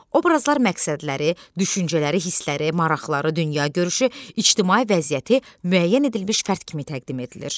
Obrazlar məqsədləri, düşüncələri, hissləri, maraqları, dünyagörüşü, ictimai vəziyyəti müəyyən edilmiş fərd kimi təqdim edilir.